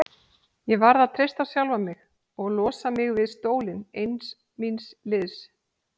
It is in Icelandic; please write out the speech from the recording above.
Ég varð að treysta á sjálfa mig og losa mig við stólinn ein míns liðs.